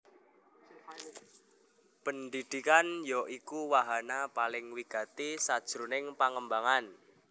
Pendhidhikan ya iku wahana paling wigati sajroning pangembangan